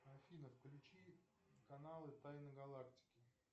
афина включи каналы тайны галактики